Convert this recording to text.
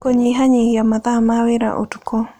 Kũnyihanyihia mathaa ma wĩra ũtukũ